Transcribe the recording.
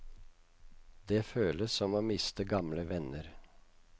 Det føles som å miste gamle venner.